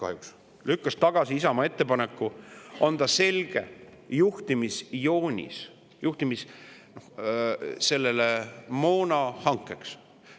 Juhatus lükkas tagasi Isamaa ettepaneku anda selge juhtimisjoonis moonahankeks.